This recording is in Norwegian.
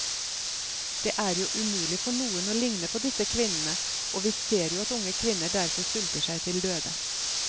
Det er jo umulig for noen å ligne på disse kvinnene, og vi ser jo at unge kvinner derfor sulter seg til døde.